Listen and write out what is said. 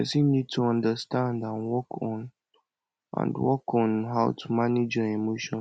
person need to understand and work on and work on how to manage your emotion